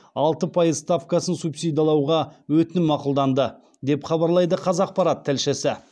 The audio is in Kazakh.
алты пайыз ставкасын субсидалауға өтінім мақұлданды деп хабарлайды қазақпарат тілшісі